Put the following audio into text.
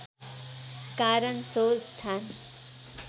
कारण सो स्थान